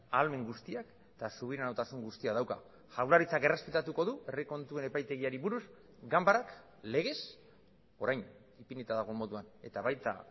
ahalmen guztiak eta subiranotasun guztia dauka jaurlaritzak errespetatuko du herri kontuen epaitegiari buruz ganbarak legez orain ipinita dagoen moduan eta baita